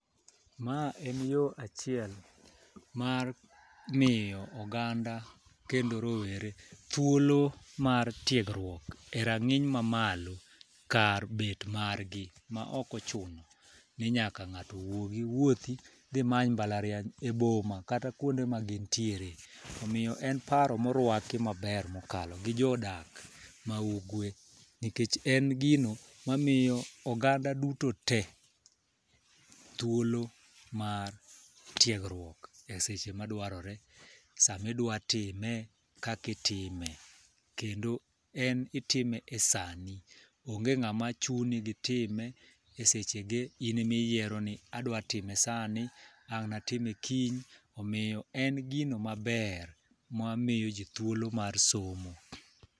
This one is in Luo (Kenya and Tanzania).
Ma en yoo achiel mar miyo oganda kendo rowere thuolo mar tiegruok e rang'iny mamalo, kar bet mar gi ma ok ochuno ni nyaka ng'ato wuogi wuothi dhi many mbalariany e boma kata kuonde ma gintiere. Omiyo en paro mowaki maber mokalo gi jodak ma ugwe nikech en gimo mamiyo oganda duto te thuolo mar tiegruok eseche madwarore samidwa time, kaki time kendo en itime e sani. Onge ng'ama chuni gitime e seche ge in emiyiero ni idwa time sani ang' natime kiny omiyo en gino maber mamiyo jii thuolo mar somo.